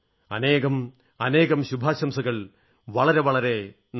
അനേകം ശുഭാശംസകൾ വളരെ വളരെ നന്ദി